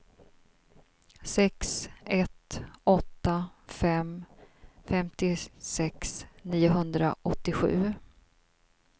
sex ett åtta fem femtiosex niohundraåttiosju